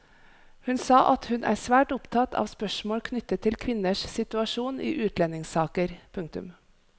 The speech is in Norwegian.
Hun sa at hun er svært opptatt av spørsmål knyttet til kvinners situasjon i utlendingssaker. punktum